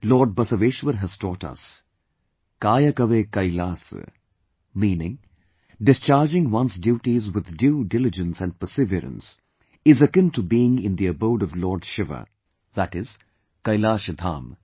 Lord Basaveshwar has taught us, "Kayakave Kailas"" meaning discahrging one's duties with due dilligence and persevereance is akin to being in the abode of Lord Shiva ie Kailasha Dham